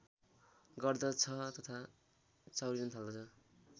गर्दछ तथा चाउरिन थाल्दछ